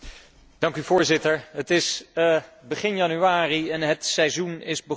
Voorzitter, het is begin januari en het seizoen is begonnen.